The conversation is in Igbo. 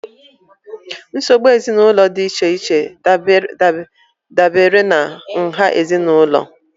Nsogbu ezinụlọ dị iche iche dabere na nha ezinụlọ